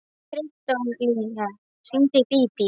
Kristólína, hringdu í Bíbí.